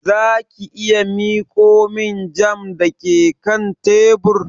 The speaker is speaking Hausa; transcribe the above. Za ki iya miƙo min jam da ke kan tebur?